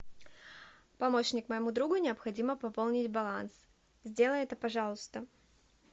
помощник моему другу необходимо пополнить баланс сделай это пожалуйста